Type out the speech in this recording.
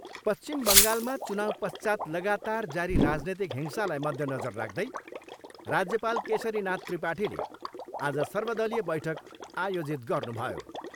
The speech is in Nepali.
पश्चिम बङ्गालमा चुनाउपश्चात् लगातार जारी राजनीतिक हिंसालाई मध्यनजर राख्दै राज्यपाल केशरीनाथ त्रिपाठीले आज सर्वदलीय बैठक आयोजित गर्नुभयो।